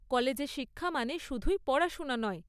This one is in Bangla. কলেজে শিক্ষা মানে শুধুই পড়াশোনা নয়।